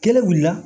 Kelen wuli la